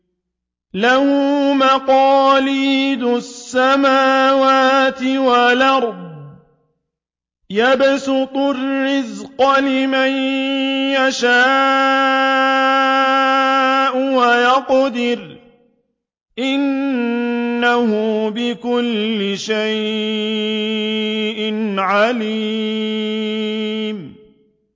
لَهُ مَقَالِيدُ السَّمَاوَاتِ وَالْأَرْضِ ۖ يَبْسُطُ الرِّزْقَ لِمَن يَشَاءُ وَيَقْدِرُ ۚ إِنَّهُ بِكُلِّ شَيْءٍ عَلِيمٌ